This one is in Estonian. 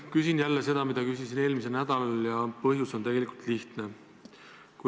Küsin jälle seda, mida ma küsisin eelmisel nädalal, ja põhjus on tegelikult lihtne.